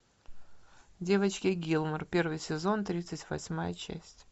девочки гилмор первый сезон тридцать восьмая часть